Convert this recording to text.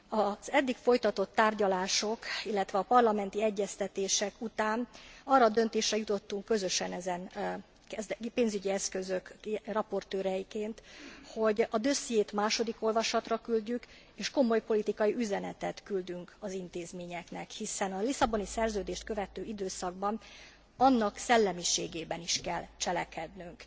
Az eddig folytatott tárgyalások, illetve a parlamenti egyeztetések után arra a döntésre jutottunk közösen a pénzügyi eszközök raportőreiként, hogy a dossziét második olvasatra küldjük, és komoly politikai üzenetet küldünk az intézményeknek, hiszen a Lisszaboni Szerződést követő időszakban annak szellemiségében is kell cselekednünk.